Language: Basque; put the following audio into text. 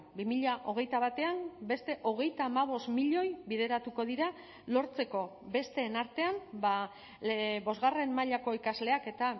bi mila hogeita batean beste hogeita hamabost milioi bideratuko dira lortzeko besteen artean bosgarren mailako ikasleak eta